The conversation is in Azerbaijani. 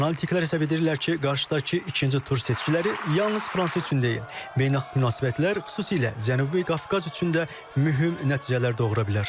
Analitiklər hesab edirlər ki, qarşıdakı ikinci tur seçkiləri yalnız Fransa üçün deyil, beynəlxalq münasibətlər, xüsusilə Cənubi Qafqaz üçün də mühüm nəticələr doğura bilər.